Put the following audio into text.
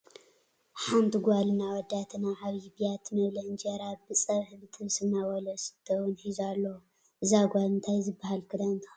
ሓንቲ ጋልን ኣወዳትን ኣብ ዓብይ ቢያቲ መብልዒ እንጀራ ብፀብሒ ብጥብሲ እናበልዑ ዝስተ እውን ሒዙ ኣሎ። እዛ ጋል እንታይ ዝበሃል ክዳን ተከዲና ?